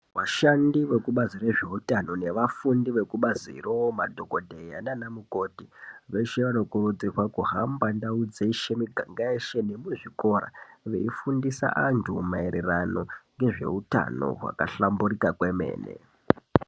Vashandi vekuzvebazi rezveutano nevafundi vekubaziro madhokodheya, nanamukoti veshe vanokurudzirwa kuhamba ndau dzeshe miganga yeshe nemuzvikora veyifundisa antu maererano ngezve utano hwaka hlamburika kwemene.